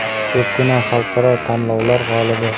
Ko‘pgina xalqaro tanlovlar g‘olibi.